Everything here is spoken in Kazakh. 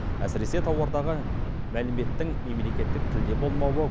әсіресе тауардағы мәліметтің мемлекеттік тілде болмауы